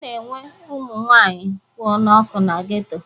A na-enwe ụmụ nwaanyị kwụ n'ọkụ na geto.